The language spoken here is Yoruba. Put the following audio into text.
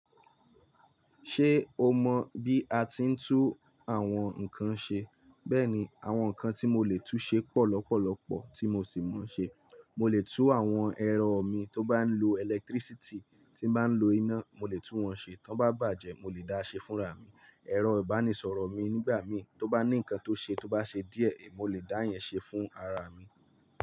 Ṣé o mọ bí a ti ń tú àwọn nǹkan ṣe? Bẹ́ẹ̀ni, àwọn nǹkan tí mo lè tú ṣe pọ̀ lọ́pọ̀lọ́pọ̀ tí mo sì mọ̀ ọ́n ṣe. Mo lè tú àwọn ẹ̀rọ mi tó bá ń lo ẹlẹtírísítì, tí bá ń lo iná, mo lè tú wọn ṣe. Tó bá bàjẹ́, mo lè dáa ṣe fúnra mi. Ẹ̀rọ ìbánisọ̀rọ̀ mi nígbà mí tó bá ní nǹkan tó ṣe, tó bá ṣe díẹ̀, mo lè dá yẹn ṣe fúnra mi.